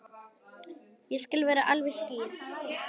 Ég skal vera alveg skýr.